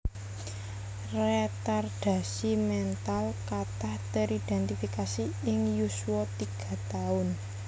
Retardasi mental katah teridentifikasi ing yuswa tiga taun